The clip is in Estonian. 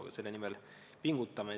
Aga me selle nimel pingutame.